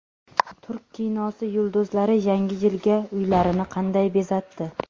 Turk kinosi yulduzlari Yangi yilga uylarini qanday bezatdi?